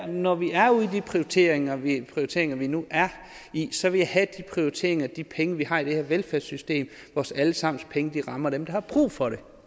når vi er ude i de prioriteringer vi prioriteringer vi nu er i så vil jeg have at de prioriteringer og de penge vi har i det her velfærdssystem vores alle sammens penge rammer dem der har brug for det